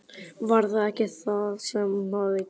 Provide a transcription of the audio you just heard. Var það ekki það sem hafði gerst?